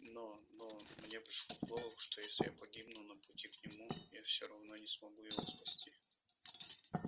но но мне пришло в голову что если я погибну на пути к нему я всё равно не смогу его спасти